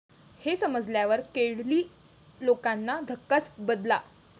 हे समजल्यावर केरळी लोकांना धक्काच बदला.